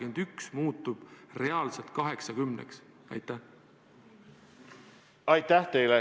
Aitäh teile!